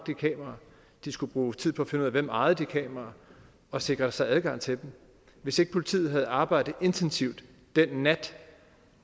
de skulle bruge tid på at finde ud af hvem der ejede de kameraer og sikre sig adgang til dem hvis ikke politiet havde arbejdet intensivt den nat